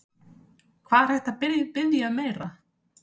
Hvað er hægt að biðja um meira?